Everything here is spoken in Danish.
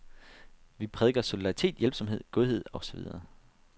Vi præker solidaritet, hjælpsomhed, godhed og så videre.